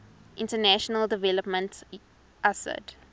international development usaid